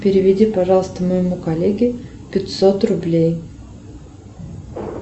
переведи пожалуйста моему коллеге пятьсот рублей